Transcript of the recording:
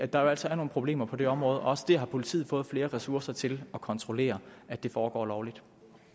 der jo altså er nogle problemer på det område også det har politiet fået flere ressourcer til at kontrollere foregår lovligt